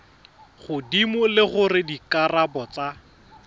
godimo le gore dikarabo tsa